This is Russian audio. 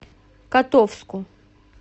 котовску